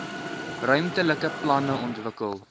ruimtelike planne ontwikkel